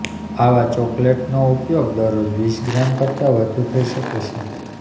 આવા ચોકલેટનો ઉપયોગ દરરોજ વીસ ગ્રામ કરતાં વધુ થઈ શકે છે